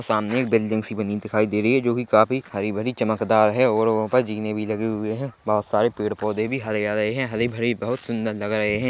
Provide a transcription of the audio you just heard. सामने एक बिल्डिंग सी बनी दिखाई दे रही है जो की काफ़ी हरी-भरी चमकदार है और वहाँ पर जीने भी लगे हुए हैं बहोत सारे पेड़ पौधे भी हरे है हरे-भरे बहुत सुंदर लग रहें हैं।